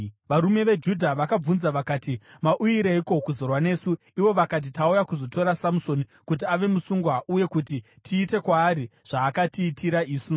Varume veJudha vakavabvunza vakati, “Mauyireiko kuzorwa nesu?” Ivo vakapindura vakati, “Tauya kuzotora Samusoni kuti ave musungwa, uye kuti tiite kwaari zvaakatiitira isu.”